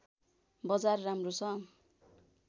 बजार राम्रो छ